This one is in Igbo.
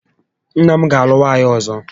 Nna m ga alụ nwaanyị ọzọ